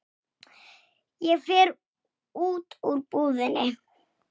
Mamma var alveg einstök kona.